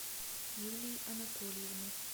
юлии анатольевны